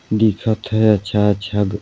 दिखत हे अच्छा-अच्छा घर--